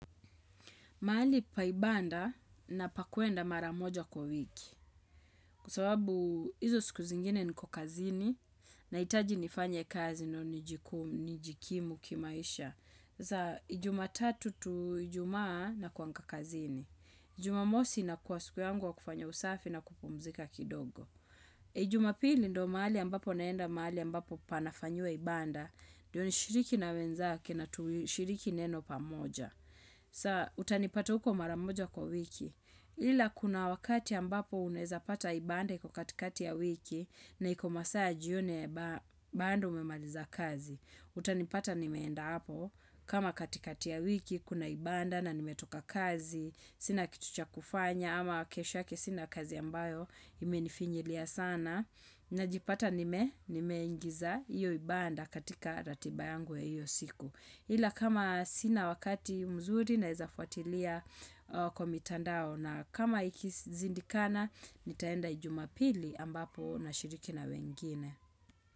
Mahali pa ibada na pa kuenda maramoja kwa wiki. Kwa sababu izo siku zingine niko kazini nahitaji nifanye kazi ndio nijikimu kimaisha. Sasa, jumatatu to ijumaa nakuanga kazini. Jumamosi inakua siku yangu ya kufanya usafi na kupumzika kidogo. Jumapili ndo mahali ambapo naenda mahali ambapo panafanyiwa ibada. Ndio nishiriki na wenzake na tuishiriki neno pamoja. Sa utanipata huko mara moja kwa wiki ila kuna wakati ambapo unaweza pata ibada iko katikati ya wiki na iko masaa ya jioni bado umemaliza kazi utanipata nimeenda hapo kama katikati ya wiki kuna ibada na nimetoka kazi Sina kitu cha kufanya ama kesho yake sina kazi ambayo Imenifinyilia sana najipata nimeingiza iyo ibada katika ratiba yangu ya hiyo siku ila kama sina wakati mzuri nawezafuatilia kwa mitandao na kama ikishindikana nitaenda jumapili ambapo nashiriki na wengine.